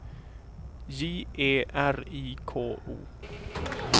J E R I K O